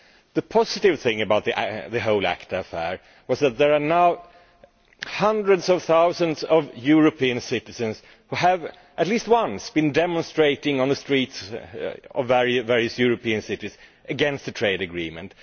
The positive thing about the whole ACTA affair was that there are now hundreds of thousands of European citizens who have, at least once, been demonstrating on the streets of various European cities against the trade agreement.